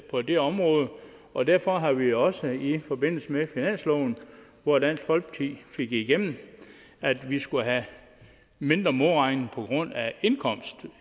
på det område og derfor har vi også i forbindelse med finansloven hvor dansk folkeparti fik igennem at vi skulle have mindre modregning på grund af indkomst